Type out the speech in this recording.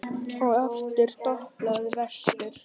Og aftur doblaði vestur.